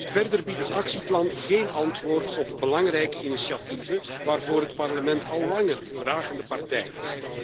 Verder biedt het actieplan geen antwoord op belangrijke initiatieven waarvoor het Parlement al langer vragende partij is.